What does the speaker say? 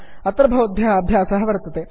अत्र भवद्भ्यः अभ्यासः वर्तते